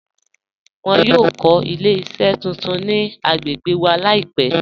Wọn yọ kọ ilẹ̀-iṣẹ tuntun ni agbègbè wa laipẹ̀